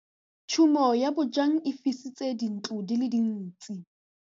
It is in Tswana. Tshumô ya bojang e fisitse dintlo di le dintsi.